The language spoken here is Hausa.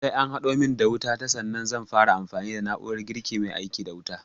Sai an haɗo min wuta ta sannan zan fara amfani da na'urar girkin mai aiki da wuta